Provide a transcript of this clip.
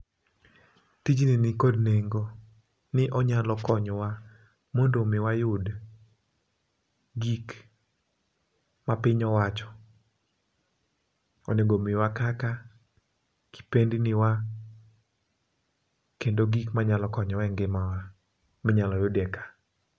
Tijni nikod nengo ni onyalo konyowa mondo mi wayud gik ma piny owacho onego miwa kaka kipendni wa ,kendo gik manyalo konyowa e ngimawa minyalo yud ie ka.